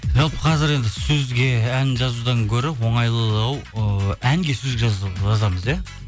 жалпы қазір енді сөзге ән жазудан гөрі оңайлылауы ыыы әнге сөз жазамыз иә